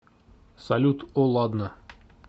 салют о ладно